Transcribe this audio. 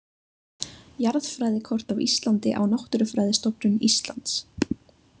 Jarðfræðikort af Íslandi á Náttúrufræðistofnun Íslands.